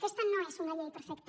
aquesta no és una llei perfecta